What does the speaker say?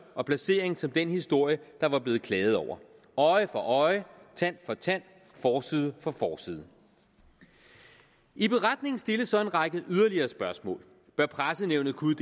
og placering som den historie der var blevet klaget over øje for øje tand for tand forside for forside i beretningen stilles så en række yderligere spørgsmål bør pressenævnet kunne